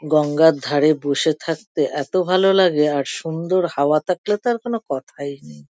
গঙ্গার ধারে বসে থাকতে এতো ভালো লাগে আর সুন্দর হাওয়া থাকলে তো আর কোনো কথাই নেই।